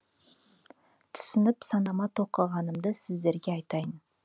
түсініп санама тоқығанымды сіздерге айтайын